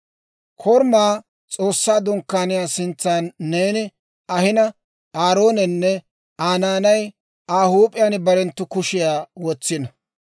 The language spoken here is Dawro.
«Korumaa, S'oossaa Dunkkaaniyaa sintsa neeni ahina, Aaroonenne Aa naanay Aa huup'iyaan barenttu kushiyaa wotsiino.